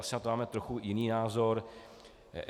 Asi na to máme trochu jiný názor.